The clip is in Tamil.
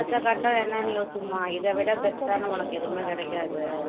அடுத்த கட்டம் என்னன்னு யோசிமா இதைவிட best ஆன உனக்கு எதுவுமே கிடைக்காது